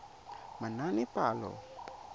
manaanepalo